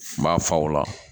N b'a fa o la